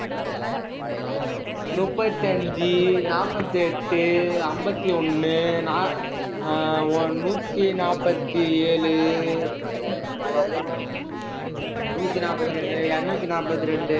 நுப்பத்தி அஞ்சு, நாற்பத்தி எட்டு, அம்பத்தி ஒண்ணு நா~ ஆஹ் ஒண்~ நூத்தி நாற்பத்தி ஏழு நூத்தி நாற்பத்தி ஏழு, இருநூத்தி நாற்பத்தி ரெண்டு